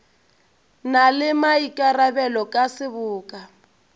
na le maikarabelo ka seboka